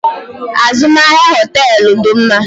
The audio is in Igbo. Azụmahịa hoteelu dị mma.